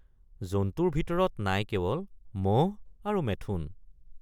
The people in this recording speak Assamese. জন্তুৰ ভিতৰত নাই কেৱল মহ আৰু মেথোন।